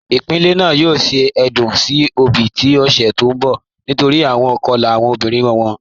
Ipilẹ́ naà yòò ṣẹ̀ èdún sí obì ni ọ̀ṣẹ̀ tó nbọ̀ nítorí awọn ikọ̀la awọn ọmọbirin wọn.